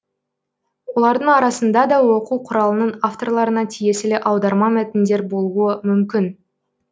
олардың арасында да оқу құралының авторларына тиесілі аударма мәтіндер болуы мүмкін